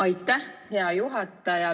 Aitäh, hea juhataja!